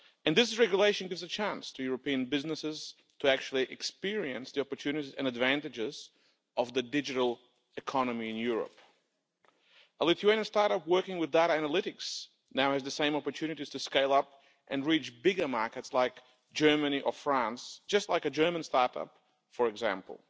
This regulation gives a chance to European businesses to actually experience the opportunities and advantages of the digital economy in Europe. A Lithuanian start-up working with data analytics now has the same opportunities to scale up and reach bigger markets, like Germany or France, as a German start-up, for example.